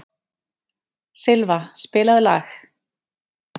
Silfa, spilaðu lag.